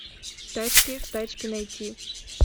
тачки тачки найти